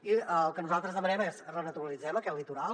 i el que nosaltres demanem és renaturalitzem aquest litoral